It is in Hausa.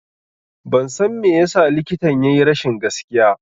Ban san me yasa likitan ya yi rashin gaskiya